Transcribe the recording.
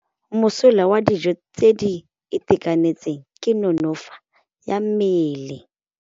Mosola wa dijô tse di itekanetseng ke nonôfô ya mmele.